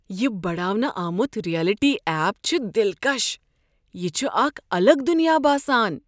یہ بڈاونہٕ آمُت رییلٹی ایپ چھ دلکش۔ یہ چھُ اکھ الگ دُنیاہ باسان۔